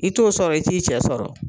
I t'o sɔrɔ, i t'i cɛ sɔrɔ.